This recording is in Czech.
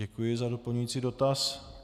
Děkuji za doplňující dotaz.